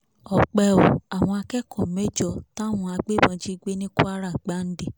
ọpẹ́ o àwọn akẹ́kọ̀ọ́ mẹ́jọ táwọn agbébọn jí gbé ní kwara gbàǹdẹ̀